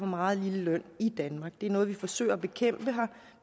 meget lille løn det er noget vi forsøger at bekæmpe vi